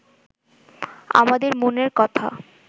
আমাদের মনের কথা